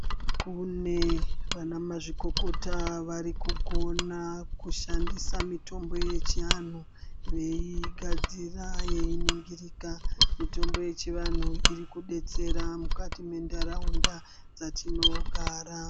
Kune vana mazvikokota varikugona kushandisa mitombo yechianhu veigadzira yechiningirika , mitombo yechianhu irikudetsera mukati mentaraunda dzatinogara.